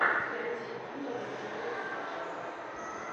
найти музыка джона ледженда